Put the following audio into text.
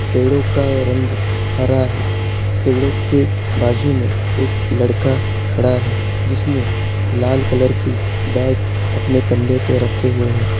पेड़ों का रंग हरा है| पेड़ों के बाजू में एक लड़का खड़ा है जिसने लाल कलर की बैग अपने कंधे पे रखी हुई है।